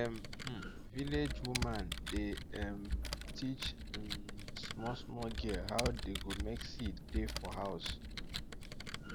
dem um village woman dey um teach um small small girl how dey go make seed tey for house